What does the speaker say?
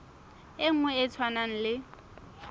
e nngwe e tshwanang le